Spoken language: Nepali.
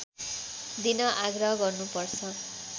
दिन आग्रह गर्नु पर्छ